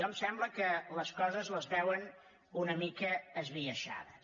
em sembla que les coses les veuen una mica esbiaixades